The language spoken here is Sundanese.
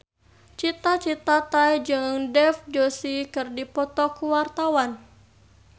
Cita Citata jeung Dev Joshi keur dipoto ku wartawan